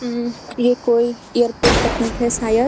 ये कोई एयरपोर्ट का पिक है शायद।